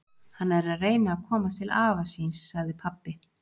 Hann er að reyna að komast til afa síns, sagði pabbi.